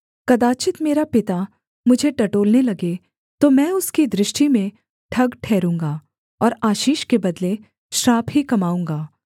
कदाचित् मेरा पिता मुझे टटोलने लगे तो मैं उसकी दृष्टि में ठग ठहरूँगा और आशीष के बदले श्राप ही कमाऊँगा